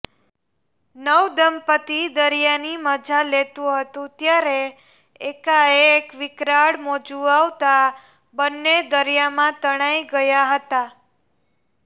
નવદંપતી દરિયાની મજા લેતું હતું ત્યારે એકાએક વિકરાળ મોજું આવતાં બંને દરિયામાં તણાઈ ગયા હતા